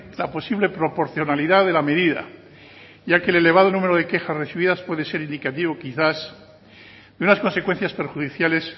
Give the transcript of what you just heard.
la posible proporcionalidad de la medida ya que el elevado número de quejas recibidas puede ser indicativo quizás de unas consecuencias perjudiciales